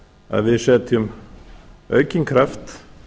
að við setjum aukinn kraft